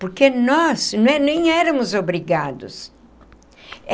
Porque nós nem éramos obrigados.